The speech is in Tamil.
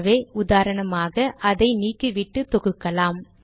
ஆகவே உதாரணமாக இதை நீக்கிவிட்டு தொகுக்கலாம்